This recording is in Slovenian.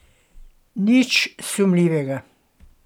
Nič sumljivega.